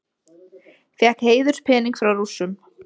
Fékk heiðurspening frá Rússum